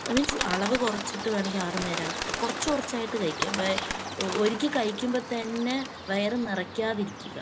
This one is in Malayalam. മീൻസ് അളവ് കുറച്ചിട്ട് വേണമെങ്കിൽ ആറ് നേരമാക്കുക. കുറച്ചുകുറച്ചായിട്ട് കഴിക്കുക . ഒരിക്കൽ കഴിക്കുമ്പൊ തന്നെ വയറ് നിറക്കാതിരിക്കുക.